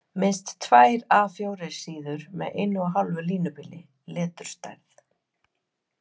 Minnst tvær A 4 síður með 1½ línubili, leturstærð